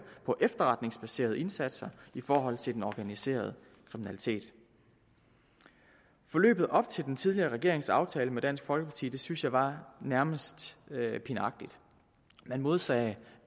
på efterretningsbaserede indsatser i forhold til den organiserede kriminalitet forløbet op til den tidligere regerings aftale med dansk folkeparti synes jeg var nærmest pinagtigt man modsagde